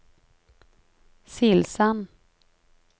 Silsand